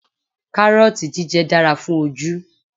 Kárọ́ọ̀tì jíjẹ dára fún ojú